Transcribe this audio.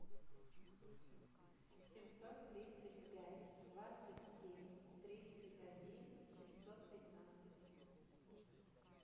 семьсот тридцать пять двадцать семь тридцать один семьсот пятнадцать